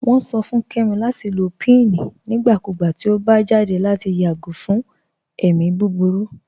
Wọn sọ fún Kẹmi lati lọ pín nígbàkúgbà tí ọ bá jáde lati yágò fún ẹ̀mi búburú.